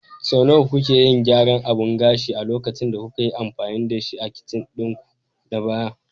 Sau nawa kuke yin gyaran abun gashin a lokacin da kuka yi amfani da shi a kicin ɗinku na baya?